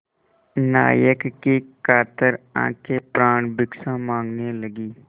नायक की कातर आँखें प्राणभिक्षा माँगने लगीं